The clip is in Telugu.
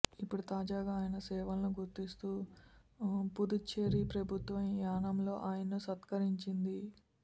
ఇప్పుడు తాజాగా ఆయన సేవలను గుర్తిస్తూ పుదుచ్చేరి ప్రభుత్వం యానంలో ఆయన్ను సత్కరించింది